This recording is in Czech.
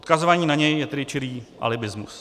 Odkazování na něj je tedy čirý alibismus.